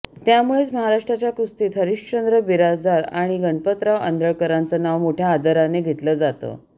त्यामुळंच महाराष्ट्राच्या कुस्तीत हरिश्चंद्र बिराजदार आणि गणपतराव आंदळकरांचं नाव मोठ्या आदरानं घेतलं जातं